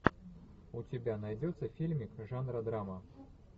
у тебя найдется фильмик жанра драма